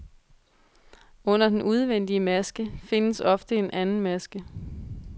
Under den udvendige maske, findes ofte en anden maske.